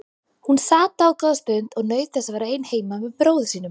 Hún sat dágóða stund og naut þess að vera ein heima með bróður sínum.